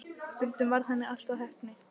Stundum varð henni allt að heppni.